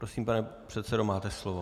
Prosím, pane předsedo, máte slovo.